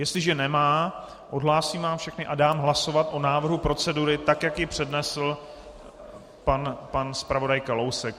Jestliže nemá, odhlásím vás všechny a dám hlasovat o návrhu procedury, tak jak ji přednesl pan zpravodaj Kalousek.